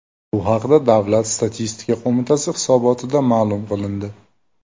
Bu haqda Davlat statistika qo‘mitasi hisobotida ma’lum qilindi .